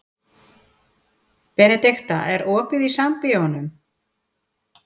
Benidikta, er opið í Sambíóunum?